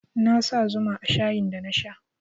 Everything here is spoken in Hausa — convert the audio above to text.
Na sa zuma a shayin da na sha